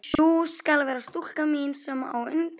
Sú skal vera stúlkan mín, sem á undan gengur.